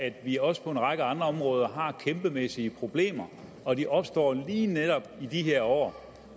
at vi også på en række andre områder har kæmpemæssige problemer og de opstår lige netop i de her år